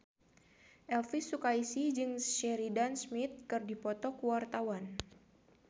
Elvy Sukaesih jeung Sheridan Smith keur dipoto ku wartawan